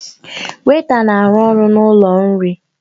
Weịta na-arụ ọrụ n'ụlọ nri